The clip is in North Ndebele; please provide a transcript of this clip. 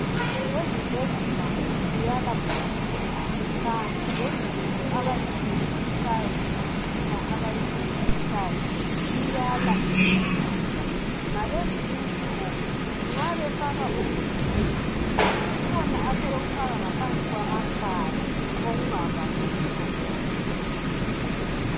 Ezibhedlela kuyala kuphucuka, kanti lezinto abazisebenzisayo, lemitshina abayisebenzisayo iyala iphucuka. Ngalezi insuku nxa wefaka umuthu umoya kukhona abasebekufaka ngaphansi kwamakhala okungavali ubuso bonke.